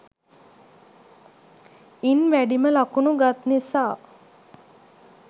ඉන් වැඩිම ලකුණු ගත් නිසා